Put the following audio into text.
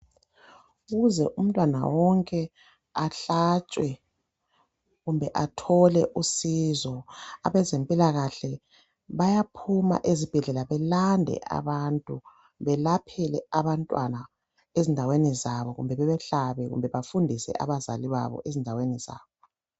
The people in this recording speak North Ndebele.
Ukuze umntwana wonke ahlatshwe kumbe athole usizo. Abezempilakahle bayaphuma ezibhedlela belande abantu belaphele abantwana endaweni zabo kumbe bebahlabe kumbe bafundise abazali endaweni zabo.